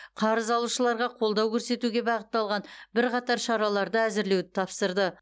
қарыз алушыларға қолдау көрсетуге бағытталған бірқатар шараларды әзірлеуді тапсырды